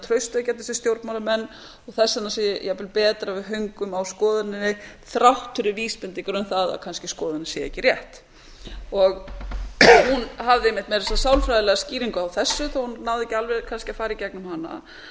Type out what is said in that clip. traustvekjandi sem stjórnmálamenn og þess vegna sé jafnvel betra að við höngum á skoðuninni þrátt fyrir vísbendingar um það að kannski sé skoðunin ekki rétt hún hafði einmitt sálfræðilega skýringu á þessu þó að hún næði kannski ekki alveg að fara í gegnum hana